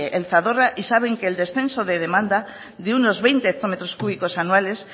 el zadorra y saben que el descenso de demanda de unos veinte hectómetros cúbicos anuales